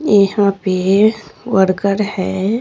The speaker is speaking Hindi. ईहां पे वर्कर है।